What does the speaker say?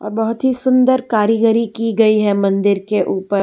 बहोत ही सुंदर कारीगरी की गई है मंदिर के ऊपर --